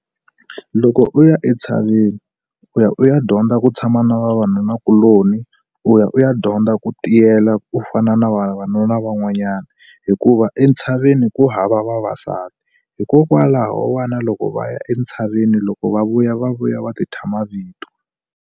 Loko u ya entshaveni, u ya u ya dyondza ku tshama na vavanunakuloni, u ya u ya dyondza ku tiyela ku fana na vavanuna van'wanyana. Hikuva entshaveni ku hava vavasati. Hikokwalaho vana loko va ya entshaveni, loko va vuya va vuya va ti thya mavito.